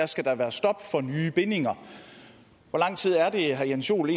skal der være stop for nye bindinger hvor lang tid er det at herre jens joel